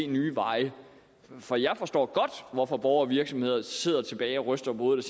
nye veje for jeg forstår godt hvorfor borgere og virksomheder sidder tilbage og ryster på hovedet